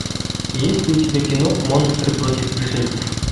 есть ли у тебя кино монстры против пришельцев